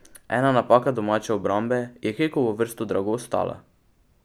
Ena napaka domače obrambe je Kekovo vrsto drago stala.